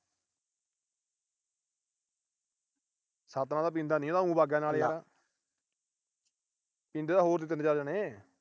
ਸਤਿਨਾਮ ਤਾਂ ਪੀਂਦਾ ਨੀ। ਇਹ ਤਾਂ ਓ ਬੱਗ ਗਿਆ ਨਾਲ। ਪੀਂਦੇ ਤਾਂ ਹੋਰ ਸੀ ਤਿੰਨ ਚਾਰ ਜਣੇ।